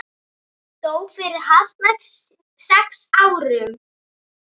Dó fyrir hartnær sex árum.